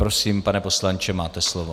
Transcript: Prosím, pane poslanče, máte slovo.